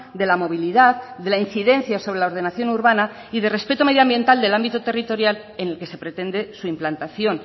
de la movilidad de la incidencia sobre la ordenación urbana y de respeto medioambiental del ámbito territorial en el que se pretende su implantación